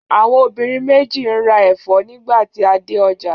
Àwọn obìnrin méjì ń ra ẹ̀fọ́ nígbà tí a dé ọjà.